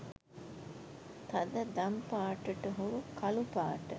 තද දමි පාටට හුරු කළු පාට